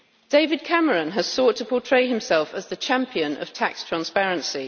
David Cameron has sought to portray himself as the champion of tax transparency.